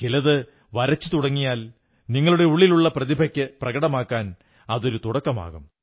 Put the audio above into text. ചിലതു വരച്ചു തുടങ്ങിയാൽ നിങ്ങളുടെ ഉള്ളിലുള്ള പ്രതിഭയ്ക്ക് പ്രകടമാകാൻ അതൊരു തുടക്കമാകും